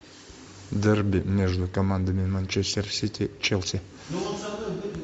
дерби между командами манчестер сити челси